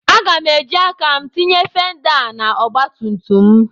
Aga m eji aka m tinye fenda a na ọgbatumtum.